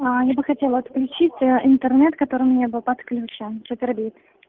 а ая бы хотела отключить интернет который у меня был подключён супербит